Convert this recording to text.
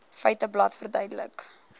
feiteblad verduidelik